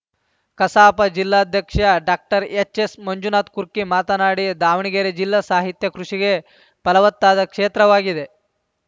ಕಸಾಪ ಜಿಲ್ಲಾಧ್ಯಕ್ಷ ಡಾಕ್ಟರ್ಎಚ್‌ಎಸ್‌ಮಂಜುನಾಥ ಕುರ್ಕಿ ಮಾತನಾಡಿ ದಾವಣಗೆರೆ ಜಿಲ್ಲಾ ಸಾಹಿತ್ಯ ಕೃಷಿಗೆ ಫಲವತ್ತಾದ ಕ್ಷೇತ್ರವಾಗಿದೆ